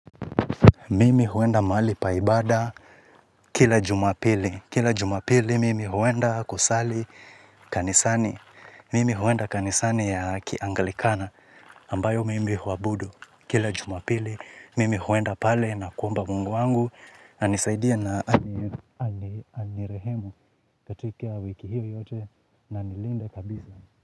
Mimi huenda mahali pa ibada kila jumapili, kila jumapili mimi huenda kusali kanisani, mimi huenda kanisani ya kiangalikana ambayo mimi huabudu kila jumapili, mimi huenda pale na kuomba mungu wangu, anisaidie na anirehemu katika wiki hii yote na anilinde kabisa.